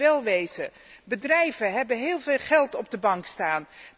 Laten wij wel wezen, bedrijven hebben heel veel geld op de bank staan.